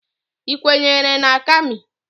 Ị kwenyere na Kami?